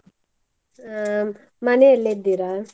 ಆ ಮನೆಯಲ್ಲೇ ಇದ್ದೀರಾ?